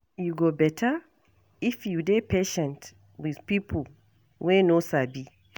E go better if you dey patient with pipo wey no sabi.